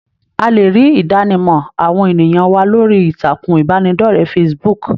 A lè rí Idanimọ àwọn ènìyàn wa lórí ìtàkùn ìbánidọ̀rẹ̀ Facebook.